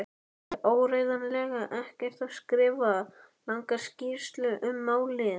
Átti áreiðanlega eftir að skrifa langa skýrslu um málið.